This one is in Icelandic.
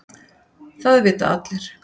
Það vita allir.